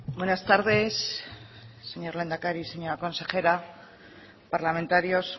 buenas tardes señor lehendakari señora consejera parlamentarios